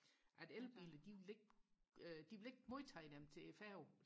at elbiler de vil ikke de vil ikke modtage dem til færgen